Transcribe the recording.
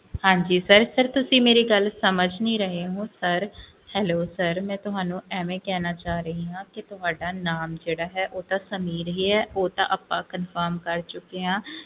ਹਾਂਜੀ sir ਤੁਸੀਂ ਮੇਰੀ ਗੱਲ ਸਮਝ ਨਹੀਂ ਰਹੇ ਹੋ sirhellosir ਮੈਂ ਤੁਹਾਨੂੰ ਐਵੇ ਕਹਿਣਾ ਚਾਹ ਰਹੀ ਆ ਜਿਹੜਾ ਨਾਮ ਹੈ ਉਹ ਤਾ ਸਮੀਰ ਹੀ ਹੈ ਉਹ ਤਾਂ ਆਪਾਂ confirm ਕਰ ਚੁਕੇ ਹੈ